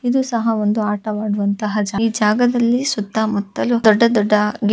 ಇದು ಸಹ ಒಂದು ಆಟವಾಡುವಂತ ಒಂದು ಜಾಗ ಈ ಜಾಗಾದಲ್ಲಿ ಸುತ್ತ ಮುತ್ತಲು ದೊಡ್ಡ ದೊಡ್ಡ ಗಿ--